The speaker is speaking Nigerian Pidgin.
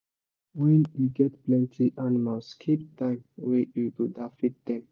when you get plenty animals keep time wey you go da feed dem